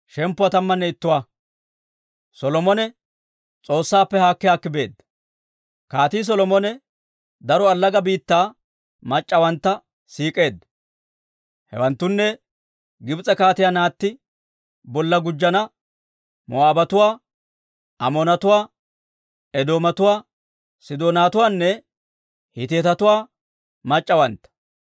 Kaatii Solomone daro allaga biittaa mac'c'awantta siik'eedda; hewanttunne Gibs'e kaatiyaa naatti bolla gujjina Moo'aabatuwaa, Amoonatuwaa, Edoomatuwaa, Sidoonatuwaanne Hiitetuwaa mac'c'awantta.